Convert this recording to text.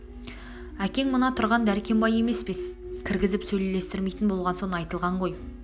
әкең мына тұрған дәркембай емес пе кіргізіп сөйлестірмейтін болған соң айтылған ғой